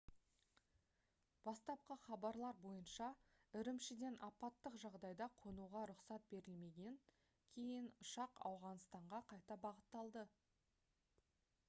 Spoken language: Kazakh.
бастапқы хабарлар бойынша үрімшіден апаттық жағдайда қонуға рұқсат берілмегеннен кейін ұшақ ауғаныстанға қайта бағытталды